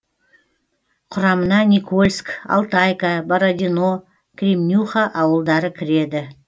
құрамына никольск алтайка бородино кремнюха ауылдары кіреді